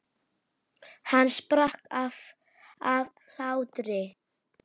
Hann sprakk af hlátri.